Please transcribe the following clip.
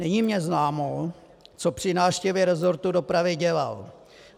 Není mi známo, co při návštěvě resortu dopravy dělal.